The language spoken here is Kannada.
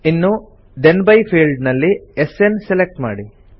ಇನ್ನು ಥೆನ್ ಬೈ ಫೀಲ್ಡ್ ನಲ್ಲಿ ಎಸ್ಎನ್ ಸೆಲೆಕ್ಟ್ ಮಾಡಿ